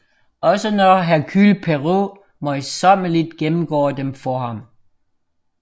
Også når Hercule Poirot møjsommeligt gennemgår dem for ham